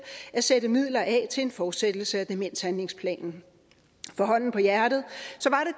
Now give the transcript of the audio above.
sætte midler af til en fortsættelse af demenshandlingsplanen for hånden på hjertet